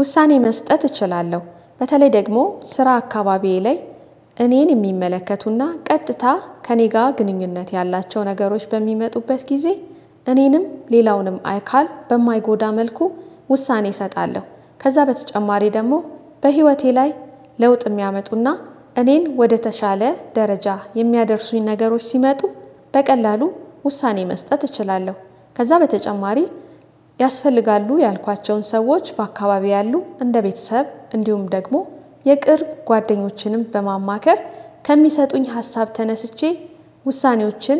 ውሳኔ መስጠት እችላለሁ በተለይ ደግሞ ስራ አካባቢዬ ላይ እኔን የሚመለከቱና ቀጥታ ከእኔ ጋር ግንኙነት ያላቸው ነገሮች በሚመጡበት ጊዜ እኔንም ሌላውንም አይካል በማይጎዳ መልኩ ውሳኔ እሰጣለሁ። ከዛ በተጨማሪ ደግሞ በህይወቴ ላይ ለውጥ የሚያመጡና እኔን ወደተሻለ ደረጃ የሚያደርሱኝ ነገሮች ሲመጡ በቀላሉ ውሳኔ መስጠት እችላለሁ። ከዛ በተጨማሪ ያስፈልጋሉ ያልኳቸውን ሰዎች በአካባቢው ያሉ እንደ ቤተሰብ እንዲሁም ደግሞ የቅርብ ጓደኞችንም በማማከር ከሚሰጡኝ ሀሳብ ተነስቼ ውሳኔዎችን